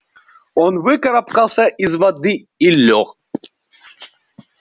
он выкарабкался из воды и лёг